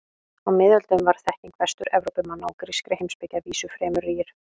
Á miðöldum var þekking Vestur-Evrópumanna á grískri heimspeki að vísu fremur rýr.